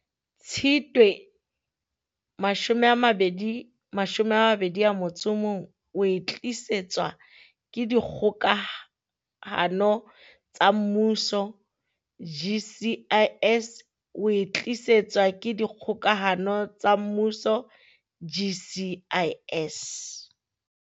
Tshitwe mashome a mabedi mashome a mabedi a motso o mong e tlisetswa ke Dikgokahano tsa Mmuso GCIS oe tlisetswa ke Dikgokahano tsa Mmuso GCIS.